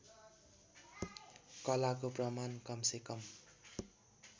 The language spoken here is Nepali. कलाको प्रमाण कमसेकम